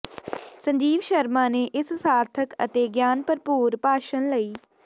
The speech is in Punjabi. ਸੰਜੀਵ ਸ਼ਰਮਾ ਨੇ ਇਸ ਸਾਰਥਿਕ ਅਤੇ ਗਿਆਨ ਭਰਪੂਰ ਭਾਸ਼ਣ ਲਈ ਡਾ